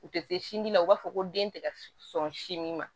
U tɛ se sinji la u b'a fɔ ko den tɛ ka sɔn sin ma